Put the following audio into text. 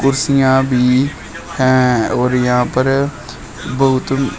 कुर्सियां भी हैं और यहां पर बहुत--